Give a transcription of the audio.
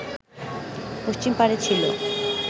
পশ্চিম পারে ছিল